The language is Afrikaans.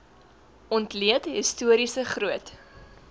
ontleed historiese groot